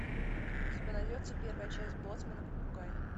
у тебя найдется первая часть боцман и попугай